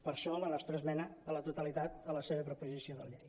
per això la nostra esmena a la totalitat a la seva proposició de llei